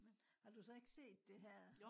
har du så ikke set det her?